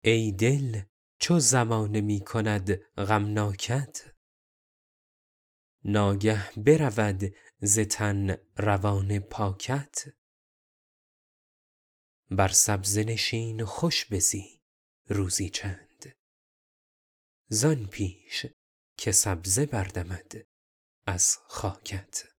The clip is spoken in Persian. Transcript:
ای دل چو زمانه می کند غمناکت ناگه برود ز تن روان پاکت بر سبزه نشین و خوش بزی روزی چند زآن پیش که سبزه بردمد از خاکت